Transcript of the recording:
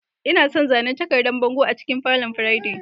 Ina son zanen takardan bango a cikin falon Friday.